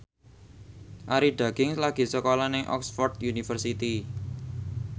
Arie Daginks lagi sekolah nang Oxford university